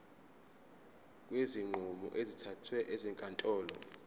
kwezinqumo ezithathwe ezinkantolo